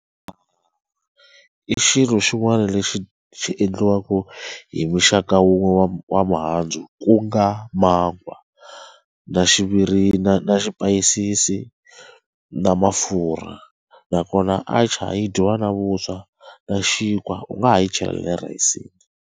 I xilo xin'wana lexi xi endliwaka hi muxaka wun'we wa wa mihandzu ku nga mangwa na na swipayisisi na mafurha nakona atchar yi dyiwa na vuswa na xinkwa u nga ha yi chela le rhayisini.